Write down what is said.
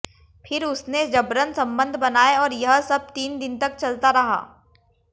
फिर उसने जबरन संबंध बनाए और यह सब तीन दिन तक चलता रहा